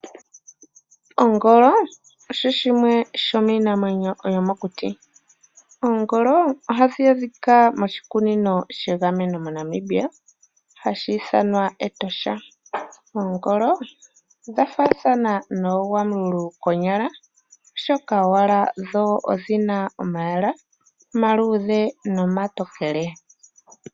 Onvolo osho shimwe shomiinamwenyo yomokuti, ohadhi adhika moshikunino shegameno shaNamibia hashi ithanwa Etosha. Oongolo odha faathana noogwamululu konyala oshoka owala dho odhina omalwalwa omatokele nomaluudhe.